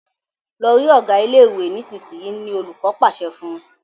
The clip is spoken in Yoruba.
Lọ rí Ọgá ilé ìwé nísìsiyìí! ni olùkó pàṣẹ fún